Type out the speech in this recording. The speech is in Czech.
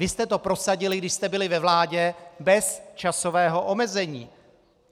Vy jste to prosadili, když jste byli ve vládě, bez časového omezení.